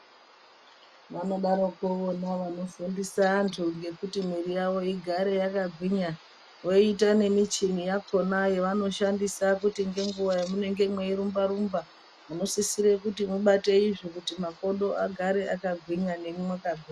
Vanodaroko nevano fundise antu ngekuti mwiri yavo igare yakagwunya voita ngemi chini yakona yavanoshandisa kuti ngenguwa yamunenge mwei rumba rumba munosisire kuti mubate izvi kuti makodo agare akagwinya nemwi mugarse makagwinya.